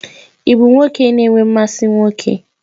Ị bụ nwoke na-enwe mmasị nwoke?